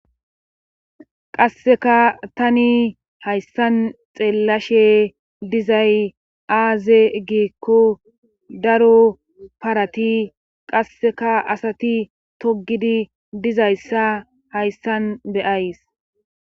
Qasseka tani hayssan xeellashe dizay aaze giekko daro parati qasseka asati togidi dizayssa hayssan beyays.